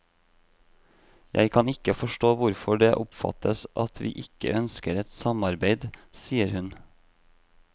Jeg kan ikke forstå hvorfor det oppfattes at vi ikke ønsker et samarbeid, sier hun.